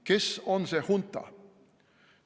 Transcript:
Kes on see hunta?